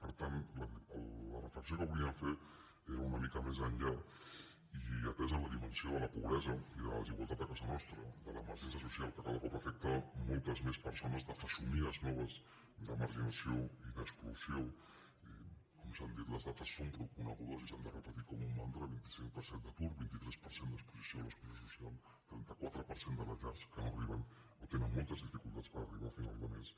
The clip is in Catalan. per tant la reflexió que volíem fer era una mica més enllà i atesa la dimensió de la pobresa i de la desigualtat a casa nostra de l’emergència social que cada cop afecta moltes més persones de fesomies noves de marginació i d’exclusió i com s’han dit les dades són prou conegudes i s’han de repetir com un mantra vint cinc per cent d’atur vint tres per cent d’exposició a l’exclusió social trenta quatre per cent de les llars que no arriben o tenen moltes dificultats per arribar a final de mes